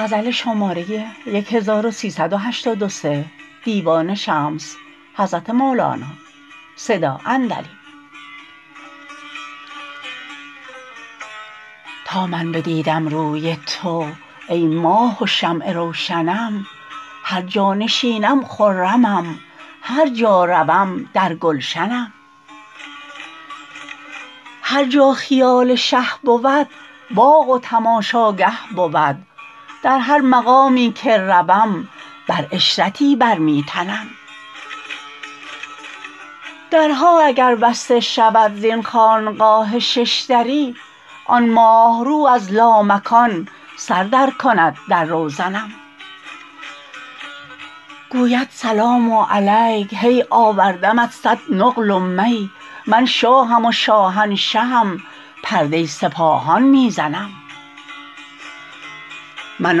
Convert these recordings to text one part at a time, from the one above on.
تا من بدیدم روی تو ای ماه و شمع روشنم هر جا نشینم خرمم هر جا روم در گلشنم هر جا خیال شه بود باغ و تماشاگه بود در هر مقامی که روم بر عشرتی بر می تنم درها اگر بسته شود زین خانقاه شش دری آن ماه رو از لامکان سر درکند در روزنم گوید سلام علیک هی آوردمت صد نقل و می من شاهم و شاهنشهم پرده سپاهان می زنم من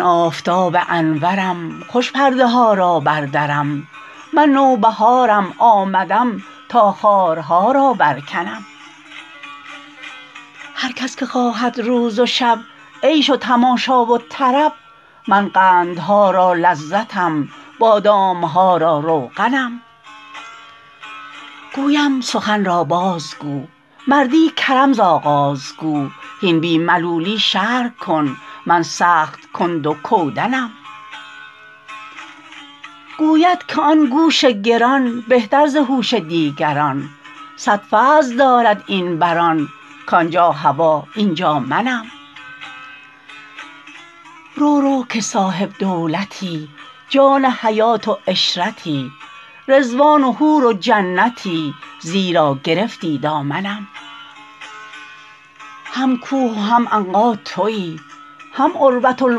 آفتاب انورم خوش پرده ها را بردرم من نوبهارم آمدم تا خارها را برکنم هر کس که خواهد روز و شب عیش و تماشا و طرب من قندها را لذتم بادام ها را روغنم گویم سخن را بازگو مردی کرم ز آغاز گو هین بی ملولی شرح کن من سخت کند و کودنم گوید که آن گوش گران بهتر ز هوش دیگران صد فضل دارد این بر آن کان جا هوا این جا منم رو رو که صاحب دولتی جان حیات و عشرتی رضوان و حور و جنتی زیرا گرفتی دامنم هم کوه و هم عنقا توی هم عروه الوثقی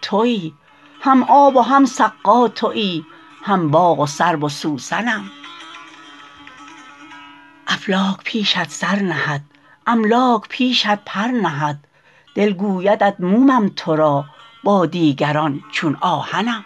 توی هم آب و هم سقا توی هم باغ و سرو و سوسنم افلاک پیشت سر نهد املاک پیشت پر نهد دل گویدت مومم تو را با دیگران چون آهنم